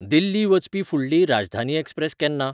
दिल्ली वचपी फुडली राजधानी एक्सप्रॅस केन्ना?